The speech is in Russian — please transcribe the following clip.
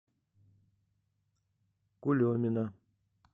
кулемина